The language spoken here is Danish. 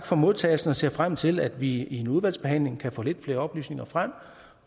for modtagelsen og ser frem til at vi i en udvalgsbehandling kan få lidt flere oplysninger frem